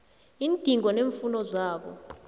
iindingo neemfuno zabo